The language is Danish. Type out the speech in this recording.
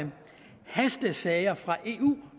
hastesager fra eu